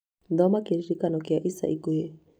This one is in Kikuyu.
thoma kĩririkano kia ica ikuhĩ